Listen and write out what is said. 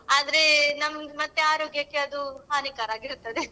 ಆದ್ರೆ ನಮ್ದ್ ಮತ್ತೆ ಆರೋಗ್ಯಕ್ಕೆ ಅದು ಹಾನಿಕಾರ ಆಗಿರ್ತದೆ .